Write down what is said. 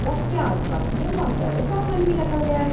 Box के आस-पास में बोहत सारे सामान भी रखा गया है।